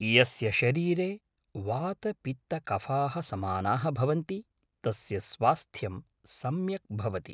यस्य शरीरे वातपित्तकफाः समानाः भवन्ति तस्य स्वास्थ्यं सम्यक् भवति